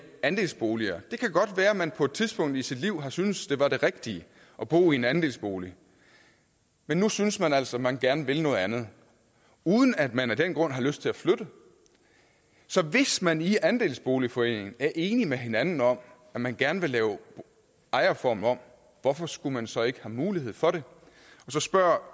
andelsboliger det kan godt være at man på et tidspunkt i sit liv har syntes at det var det rigtige at bo i en andelsbolig men nu synes man altså at man gerne vil noget andet uden at man af den grund har lyst til at flytte så hvis man i andelsboligforeningen er enige med hinanden om at man gerne vil lave ejerformen om hvorfor skulle man så ikke have mulighed for det så spørger